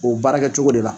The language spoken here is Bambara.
O baara kɛcogo de la